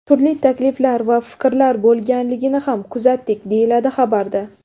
Turli takliflar va fikrlar bo‘lganligini ham kuzatdik, deyiladi xabarda.